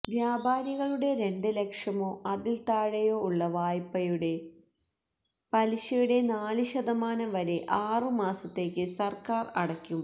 വ്യാപാരികളുടെ രണ്ടുലക്ഷമോ അതിൽ താഴെയോ ഉള്ള വായ്പളുടെ പലിശയുടെ നാല് ശതമാനം വരെ ആറു മാസത്തേക്ക് സർക്കാർ അടയ്ക്കും